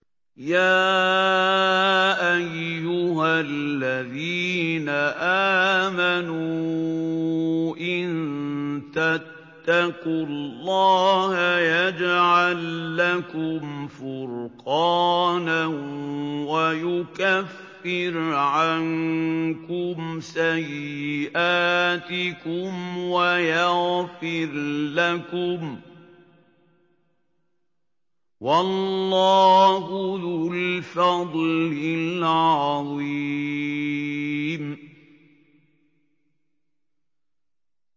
يَا أَيُّهَا الَّذِينَ آمَنُوا إِن تَتَّقُوا اللَّهَ يَجْعَل لَّكُمْ فُرْقَانًا وَيُكَفِّرْ عَنكُمْ سَيِّئَاتِكُمْ وَيَغْفِرْ لَكُمْ ۗ وَاللَّهُ ذُو الْفَضْلِ الْعَظِيمِ